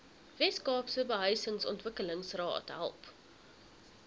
weskaapse behuisingsontwikkelingsraad help